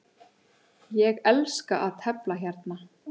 Ég elska að tefla hérna.